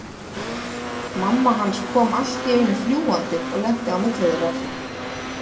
Mamma hans kom allt í einu fljúgandi og lenti á milli þeirra.